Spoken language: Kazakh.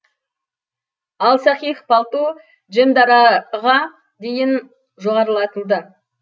ал саикх палту джемадараға дейін жоғарылатылды